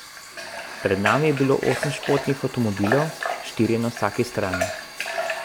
Pred nami je bilo osem športnih avtomobilov, štirje na vsaki strani.